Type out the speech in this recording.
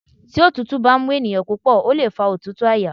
Tí òtútù bá mú ènìyàn púpọ̀ ó lè fa òtútù àyà.